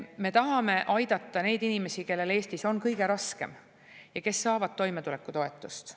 Me tahame aidata neid inimesi, kellel Eestis on kõige raskem ja kes saavad toimetulekutoetust.